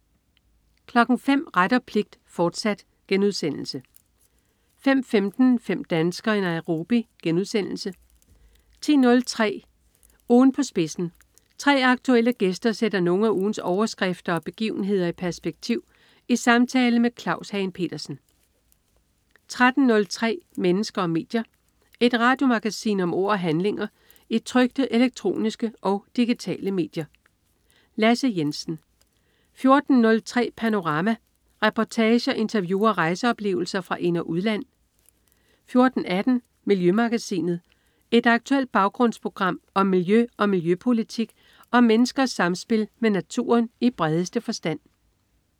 05.00 Ret og pligt, fortsat* 05.15 Fem danskere i Nairobi* 10.03 Ugen på spidsen. 3 aktuelle gæster sætter nogle af ugens overskrifter og begivenhederi perspektiv i samtale med Claus Hagen Petersen 13.03 Mennesker og medier. Et radiomagasin om ord og handlinger i trykte, elektroniske og digitale medier. Lasse Jensen 14.03 Panorama. Reportager, interview og rejseoplevelser fra ind- og udland 14.18 Miljømagasinet. Et aktuelt baggrundsprogram om miljø og miljøpolitik og om menneskers samspil med naturen i bredeste forstand